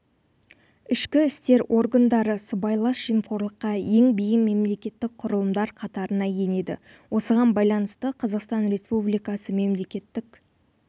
ішкі істер органдары сыбайлас жемқорлыққа ең бейім мемлекеттік құрылымдар қатарына енеді осыған байланысты қазақстан республикасы мемлекеттік